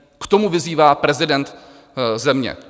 K tomu vyzývá prezident země.